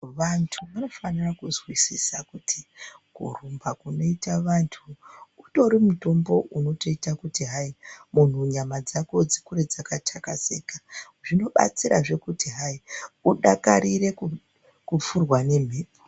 Wandu wanofanira kuzwisisa kuti kurumba kunoita wandu, utori mutombo unotoita kuti hai nyama dzako dzikure dzaka takazika, zvinobatsirazve kuti hai, udakarire kufurwa ngemhepo.